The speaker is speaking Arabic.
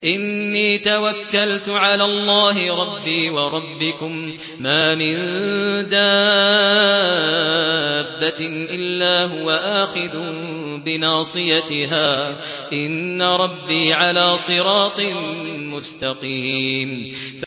إِنِّي تَوَكَّلْتُ عَلَى اللَّهِ رَبِّي وَرَبِّكُم ۚ مَّا مِن دَابَّةٍ إِلَّا هُوَ آخِذٌ بِنَاصِيَتِهَا ۚ إِنَّ رَبِّي عَلَىٰ صِرَاطٍ مُّسْتَقِيمٍ